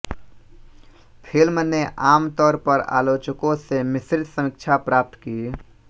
film ने आम तौर पर आलोचकों से मिश्रित समीक्षा प्राप्त की